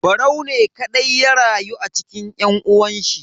Barau ne kadai ya rayu a cikin yan uwanshi.